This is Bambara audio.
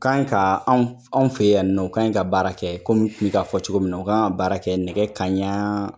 Kan ka anw fɛ yan ni nɔ u kan ka baara kɛ komi n tun bɛ k'a fɔ cogo min na ka baara kɛ nɛgɛ kanɲɛ